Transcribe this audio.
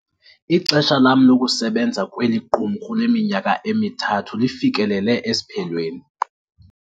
Ixesha lam lokusebenza kweli qumrhu leminyaka emithathu lifikelele esiphelweni.